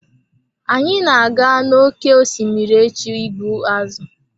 Anyị na-aga n'oké osimiri echi ịgbu azụ̀.